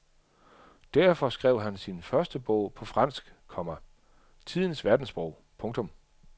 Derfor skrev han sin første bog på fransk, komma tidens verdenssprog. punktum